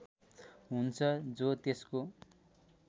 हुन्छ जो त्यसको